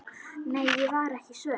Nei, ég var ekki svöng.